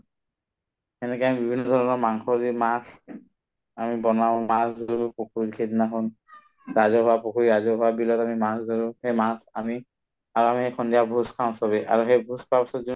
সেনেকে আমি বিভিন্ন ধৰণৰ মাংস, মাছ আমি বনাওঁ মাঘ বিহুৰ দিনাখন ৰাজহুৱা পুখুৰীত, ৰাজহুৱা বিলত আমি মাছ ধৰো সেই মাছ আনি আৰু আমি সেই সন্ধিয়া ভোজ খাওঁ চবে আৰু সেই ভোজ খোৱাৰ পিছত